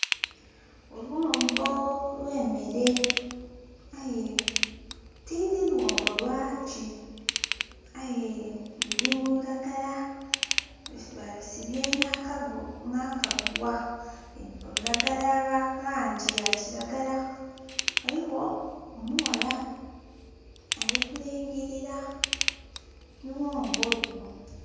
Olughombo lw'emere aye tidhi lughombo lwaki aye luli mululagala balusibye nakagugha olulagala lwa langi ya kiragala. Ghaligho omughala ali kulingilira lughombo luno.